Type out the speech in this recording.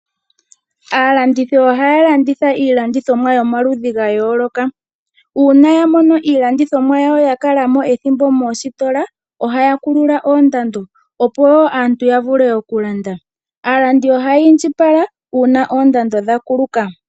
Aalandithi ohaya landitha iilandithomwa yomaludhi ga yooloka. Uuna ya mono iilandithomwa yakala mo mositola ohaya kulula oondando opo aantu ya vule oku landa. Aalandi ohaya indjipala uuna oondando dha kuluka.